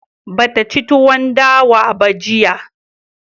Ba ta ci tuwon dawa ba jiya